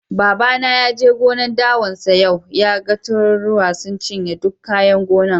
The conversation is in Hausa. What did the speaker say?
Baba na ya je gonan' dawan sa yau, ya gan tururuwa sun ciye duk kayan gonan'.